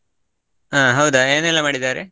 ಹಾ ಹೌದಾ ಏನೆಲ್ಲಾ ಮಾಡಿದ್ದಾರೆ?